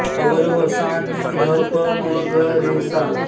अवरोह सां नि ध प म ग रे सा